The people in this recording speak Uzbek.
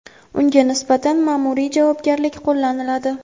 unga nisbatan maʼmuriy javobgarlik qo‘llaniladi.